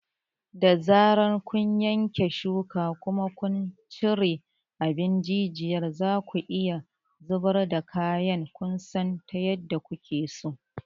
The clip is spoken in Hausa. Da zarar kun yanke shuka kuma kun cire abin jijiyar, zaku iya zubar da kayan kwanson ta yadda kuke so.